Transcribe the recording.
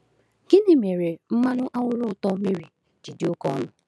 Gịnị mere mmanụ anwụrụ ụtọ Mary ji dị oke ọnụ?